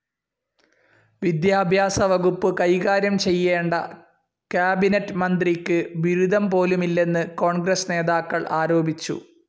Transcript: വിദ്യാഭ്യാസവകുപ്പ് കൈകാര്യംചെയ്യേണ്ട കാബിനറ്റ്‌ മന്ത്രിക്ക് ബിരുദംപോലുമില്ലെന്ന് കോൺഗ്രസ്‌ നേതാക്കൾ ആരോപിച്ചു.